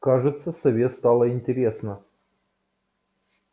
кажется сове стало интересно